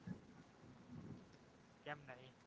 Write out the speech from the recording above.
કેમ નહિ?